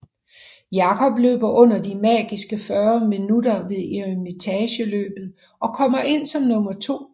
Jakob løber under de magiske 40 minutter ved Eremitageløbet og kommer ind som nummer to